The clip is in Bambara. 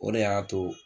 O de y'a to